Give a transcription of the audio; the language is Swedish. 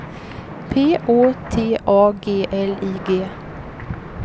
P Å T A G L I G